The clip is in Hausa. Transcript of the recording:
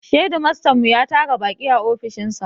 Shedimastan mu ya tara baƙi a ofishin sa